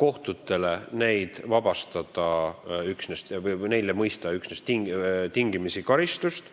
kohtutele neid vabastada või mõista üksnes tingimisi karistust.